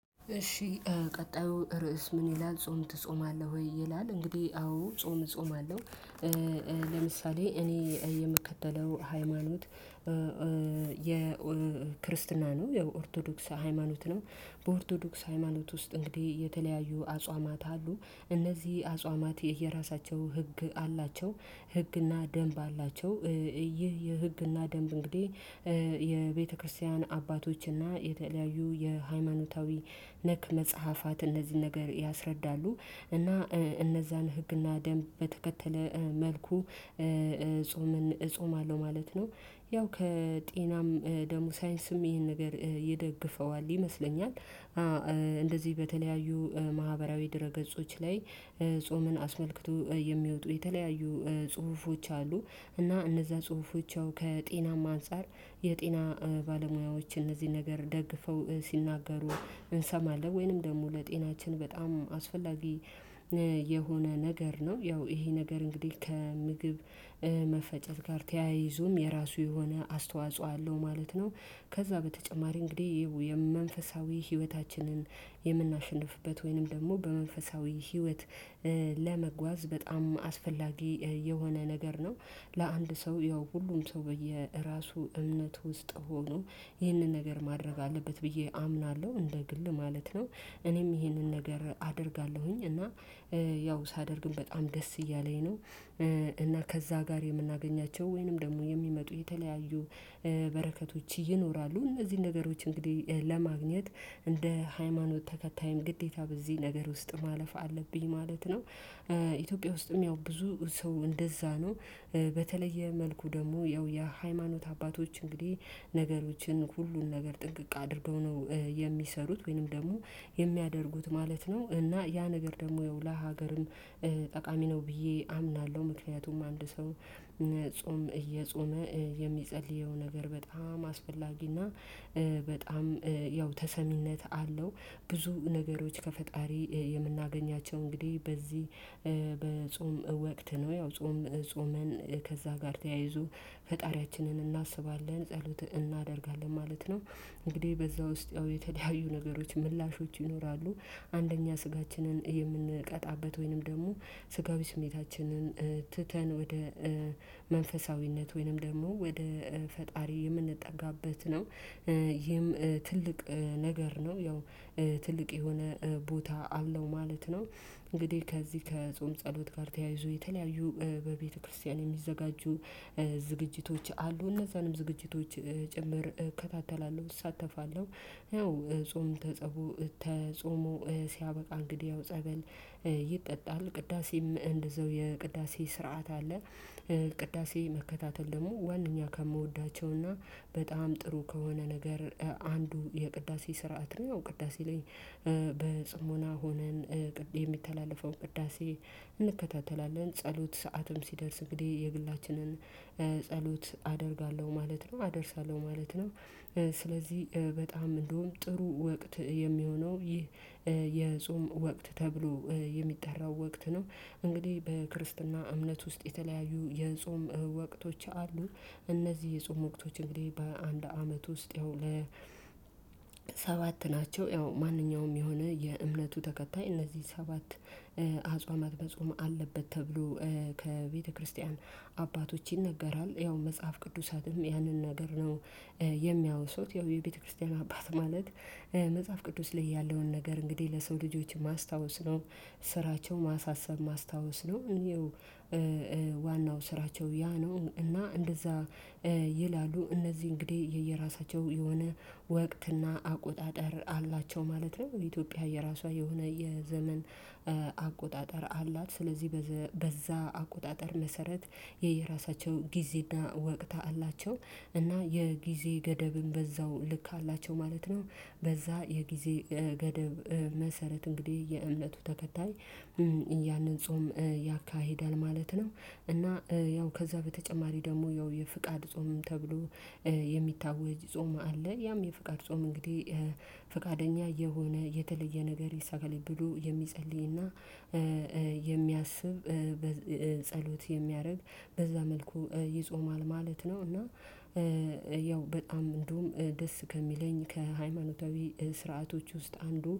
እሺ ቀጣዩ ርዕስ ምን ይላል ጾም ትጾማለህ ወይ ይላል? እንግዲህ አዎ ጾም እጾማለሁ። ለምሳሌ እኔ የምከተለው ሃይማኖት የክርስትና ነው ኦርቶዶክስ ሃይማኖት ነው። በኦርቶዶክስ ሃይማኖት ውስጥ እንግዲህ የተለያዩ አጽዋማት አሉ። እነዚህ አጽዋማት የየራሳቸው ህግ አላቸው። ህግና ደንብ አላቸው። ይህ የህግና ደንብ እንግዲህ የቤተክርስቲያን አባቶችና የተለያዩ የሃይማኖታዊ ነክ መጽሐፋት እነዚህን ነገር ያስረዳሉ። እና እነዛን ህግና ደንብ በተከተለ መልኩ ጾም እጾማለሁ ማለት ነው። ያው ከጤናም ደግሞ ሳይንስም ይሄን ነገር ይደግፈዋል ይመስለኛል። እንደዚህ በተለያዩ ማህበራዊ ድረ ገጾች ላይ ጾምን አስመልክቶ የሚወጡ የተለያዩ ጽሁፎች አሉ። እና እነዛ ጽሁፎቻው ከጤናማ አንፃር የጤና ባለሙያዎችን እነዚህን ነገር ደግፈው ሲናገሩ እንሰማለን ወይንም ደግሞ ለጤናችን በጣም አስፈላጊ። የሆነ ነገር ነው ያው ይሄ ነገር እንግዲህ ከምግብ መፈጨት ጋር ተያይዞም የራሱ የሆነ አስተዋጽኦ አለው ማለት ነው። ከዛ በተጨማሪ እንግዲህ የመንፈሳዊ ህይወታችንን የምናሸንፍበት ወይንም ደግሞ በመንፈሳዊ ህይወት ለመጓዝ በጣም አስፈላጊ የሆነ ነገር ነው። ለአንድ ሰው ያው ሁሉም ሰው በየራሱ እምነት ውስጥ ሆኖ ይህንን ነገር ማድረግ አለበት ብዬ አምናለሁ እንደ ግል ማለት ነው። እኔም ይሄንን ነገር አደርጋለሁኝ እና ያው ሳደርግም በጣም ደስ እያለኝ ነው። እና ከዛ ጋር የምናገኛቸው ወይንም ደግሞ የሚመጡ የተለያዩ በረከቶች ይኖራሉ እነዚህን ነገሮች እንግዲህ ለማግኘት እንደ ሃይማኖት ተከታይም ግዴታ በዚህ ነገር ውስጥ ማለፍ አለብኝ ማለት ነው። ኢትዮጵያ ውስጥም ያው ብዙ ሰው እንደዛ ነው። በተለየ መልኩ ደግሞ ያው የሃይማኖት አባቶች እንግዲህ ነገሮችን ሁሉን ነገር ጥንቅቅ አድርገው ነው የሚሰሩት ወይንም ደግሞ የሚያደርጉት ማለት ነው። እና ያ ነገር ደግሞ ለሀገርም ጠቃሚ ነው ብዬ አምናለሁ። ምክንያቱም አንድ ሰው ጾም እየጾመ የሚጸልየው ነገር በጣም አስፈላጊና በጣም ያው ተሰሚነት አለው። ብዙ ነገሮች ከፈጣሪ የምናገኛቸው እንግዲህ በዚህ በጾም ወቅት ነው ያው ጾም ጾመን ከዛ ጋር ተያይዞ ፈጣሪያችንን እናስባለን ጸሎት እናደርጋለን ማለት ነው። እንግዲህ በዛ ውስጥ ያው የተለያዩ ነገሮች ምላሾች ይኖራሉ። አንደኛ ስጋችንን የምንቀጣበት ወይንም ደግሞ ስጋዊ ስሜታችንን ትተን ወደ መንፈሳዊነት ወይንም ደግሞ ወደ ፈጣሪ የምንጠጋበት ነው። ይህም ትልቅ ነገር ነው ያው ትልቅ የሆነ ቦታ አብለው ማለት ነው። እንግዲህ ከዚህ ከጾም ጸሎት ጋር ተያይዞ የተለያዩ በቤተክርስቲያን የሚዘጋጁ ዝግጅቶች አሉ እነዛንም ዝግጅቶች ጭምር እከታተላለሁ እሳተፋለሁ። ያው ጾም ተጾሞ ሲያበቃ እንግዲህ ያው ጸበል ይጠጣል ቅዳሴም እንደዛው የቅዳሴ ስርዓት አለ። ቅዳሴ መከታተል ደግሞ ዋናኛ ከምወዳቸውና በጣም ጥሩ ከሆነ ነገር አንዱ የቅዳሴ ስርዓት ነው። ቅዳሴ ላይ በጽሞና ሆነን የሚተላለፈው ቅዳሴ እንከታተላለን ጸሎት ሰዓትም ሲደርስ እንግዲህ የግላችንን ጸሎት አደርጋለሁ ማለት ነው አደርሳለሁ ማለት ነው። ስለዚህ በጣም እንደውም ጥሩ ወቅት የሚሆነው ይህ የጾም ወቅት ተብሎ የሚጠራው ወቅት ነው። እንግዲህ በክርስትና እምነት ውስጥ የተለያዩ የጾም ወቅቶች አሉ። እነዚህ የጾም ወቅቶች እንግዲህ በአንድ አመት ውስጥ ያው ለ ሰባት ናቸው። ያው ማንኛውም የሆነ የእምነቱ ተከታይ እነዚህ ሰባት አጽዋማት በጾም አለበት ተብሎ ከቤተክርስቲያን አባቶች ይነገራል ያው መጽሐፍ ቅዱሳትም ያንን ነገር ነው። የሚያወሱት የቤተክርስቲያን አባት ማለት መጽሐፍ ቅዱስ ላይ ያለውን ነገር እንግዲህ ለሰው ልጆች ማስታወስ ነው። ስራቸው ማሳሰብ ማስታወስ ነው። ዋናው ስራቸው ያ ነው እና እንደዛ ይላሉ እነዚህ እንግዲህ የየራሳቸው የሆነ ወቅት እና አቆጣጠር አላቸው ማለት ነው። የኢትዮጵያ የራሷ የሆነ የዘመን አቆጣጠር አላት። ስለዚህ በዛ አቆጣጠር መሰረት የየራሳቸው ጊዜና ወቅታ አላቸው እና የጊዜ ገደብም በዛው ልክ አላቸው ማለት ነው። በዛ የጊዜ ገደብ መሰረት እንግዲህ የእምነቱ ተከታይ ያንን ጾም ያካሂዳል ማለት ነው። እና ያው ከዛ በተጨማሪ ደግሞ ያው የፍቃድ ጾም ተብሎ የሚታወጅ ጾም አለ። ያም የፍቃድ ጾም እንግዲህ ፍቃደኛ የሆነ የተለየ ነገር ይሳካልኝ ብሎ የሚጸልይና የሚያስብ ጸሎት የሚያደርግ በዛ መልኩ ይጾማል ማለት ነው። እና ያው በጣም እንደውም ደስ ከሚለኝ ከሃይማኖታዊ ስርዓቶች ውስጥ አንዱ